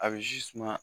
A bɛ zi suma